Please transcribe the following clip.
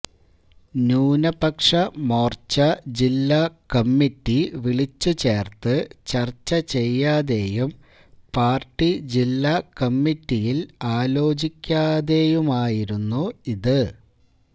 ന്യൂനപക്ഷ മോര്ച്ച ജില്ലാ കമ്മിറ്റി വിളിച്ചുചേര്ത്ത് ചര്ച്ചചെയ്യാതെയും പാര്ട്ടി ജില്ലാ കമ്മിറ്റിയില് ആലോചിക്കാതെയുമായിരുന്നു ഇത്